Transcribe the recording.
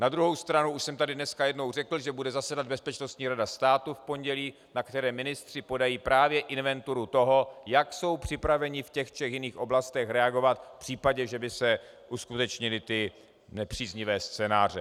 Na druhou stranu už jsem tady dneska jednou řekl, že bude zasedat Bezpečnostní rada státu v pondělí, na které ministři podají právě inventuru toho, jak jsou připraveni v těch třech jiných oblastech reagovat v případě, že by se uskutečnily ty nepříznivé scénáře.